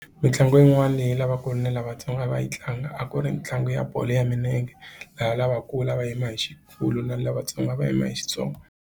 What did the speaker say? Mitlangu yin'wana leyi lavakulu na lavatsongo a va yi tlanga a ku ri ntlangu ya bolo ya milenge laha lavakulu a va yima hi xikulu na lavatsongo va yima hi xitsongo.